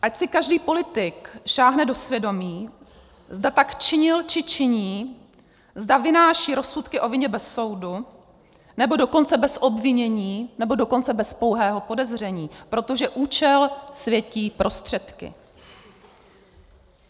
Ať si každý politik sáhne do svědomí, zda tak činil či činí, zda vynáší rozsudky o vině bez soudu, nebo dokonce bez obvinění, nebo dokonce bez pouhého podezření, protože účel světí prostředky.